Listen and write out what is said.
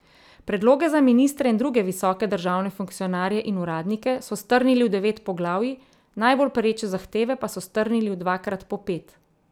Predloge za ministre in druge visoke državne funkcionarje in uradnike so strnili v devet poglavij, najbolj pereče zahteve pa so strnili v dvakrat po pet.